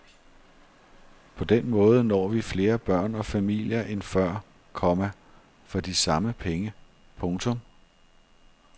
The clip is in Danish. På den måde når vi flere børn og familier end før, komma for de samme penge. punktum